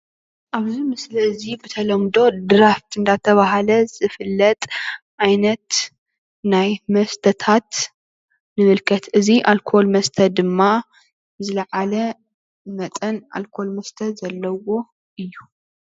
ኣብዚ ምስሊ እዚ ብተለምዶ ድራፍት እንዳተባሃለ ዝፍለጥ ዓይነት ናይ መስተታት ንምልከት፡፡ እዚ ኣልኮል መስተ ድማ ዝለዓለ መጠን ኣልኮል መስተ ዘለዎ እዩ፡፡